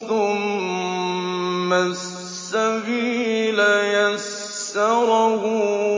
ثُمَّ السَّبِيلَ يَسَّرَهُ